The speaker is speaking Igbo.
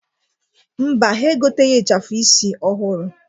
Mba, ha egoteghi ịchafụ isi ọhụrụ.